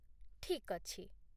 ଠିକ୍ ଅଛି